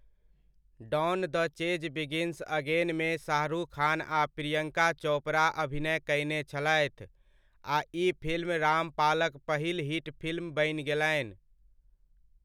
Don the chase begins अगेन'मे शाहरुख खान आ प्रियंका चोपड़ा अभिनय कयने छलथि आ ई फिल्म रामपालक पहिल हिट फिल्म बनि गेलनि।